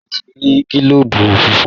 Sope n ti rà gilobu fúnfún.